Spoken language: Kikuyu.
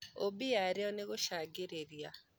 ũmbi yarĩo nĩũgucagĩrĩria.